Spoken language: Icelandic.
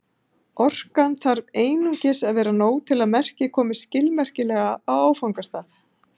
Orkan þarf einungis að vera nóg til að merkið komist skilmerkilega á áfangastað.